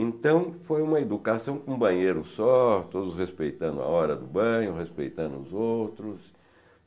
Então, foi uma educação com um banheiro só, todos respeitando a hora do banho, respeitando os outros.